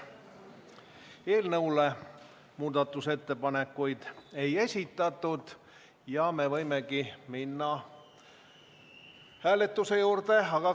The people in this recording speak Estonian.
Eelnõu kohta muudatusettepanekuid ei esitatud ja me võime minna hääletuse juurde.